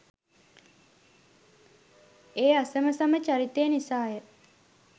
ඒ අසමසම චරිතය නිසාය.